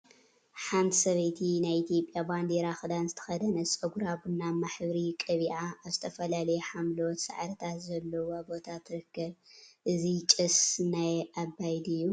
ሓንቲ ሰበይቲ ናይ ኢትዮጵያ ባንዴራ ክዳን ዝተከደነት ፀጉራ ቡናማ ሕብሪ ቀቢአ አብ ዝተፈላለዩ ሓምለዎት ሳዕሪታት ዘለዎ ቦታ ትርከብ፡፡ እዚ ጭስ ናይ አባይ ድዩ?